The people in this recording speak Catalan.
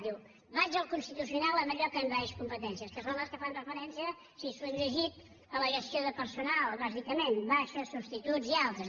diu vaig al constitucional en allò que envaeix competències que són les que fan referència si s’ho han llegit a la gestió de personal bàsicament baixes substituts i altres